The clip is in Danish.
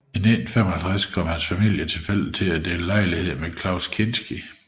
I 1955 kom hans familie tilfældigt til at dele lejlighed med Klaus Kinski